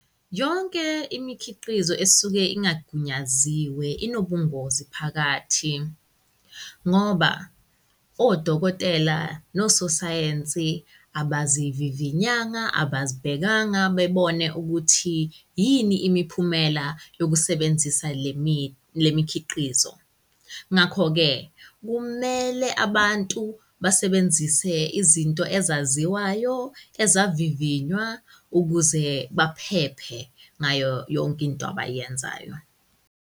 Yonke imikhiqizo esuke ingagunyaziwe inobungozi phakathi ngoba odokotela nososayensi abazivivinyanga, abazibhekanga bebone ukuthi yini imiphumela yokusebenzisa le mikhiqizo. Ngakho-ke, kumele abantu basebenzise izinto ezaziwayo, ezavivinywa ukuze baphephe ngayo yonke into abayenzayo.